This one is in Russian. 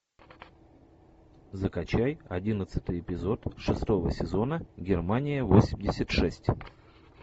закачай одиннадцатый эпизод шестого сезона германия восемьдесят шесть